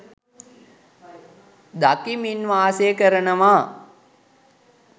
දකිමින් වාසය කරනව.